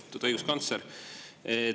Lugupeetud õiguskantsler!